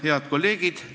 Head kolleegid!